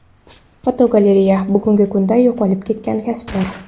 Fotogalereya: Bugungi kunda yo‘qolib ketgan kasblar.